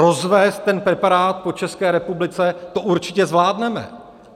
Rozvézt ten preparát po České republice, to určitě zvládneme.